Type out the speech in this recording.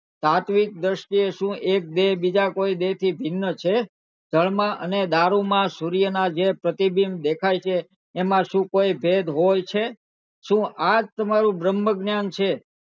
સાત્વિક દ્રષ્ટિ સુ એક દેહ બીજા કોઈ દેહ થી ભિન્ન છે જળ માં અને દારૂ માં સૂર્ય ના જે પ્રતિબિંબ દેખાય છે એમાં સુ કોઈ ભેદ હોય છે સુ આજ તમારું બ્રહ્મ જ્ઞાન છે